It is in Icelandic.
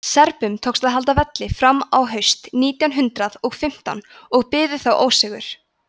serbum tókst að halda velli fram á haust nítján hundrað og fimmtán en biðu þá ósigur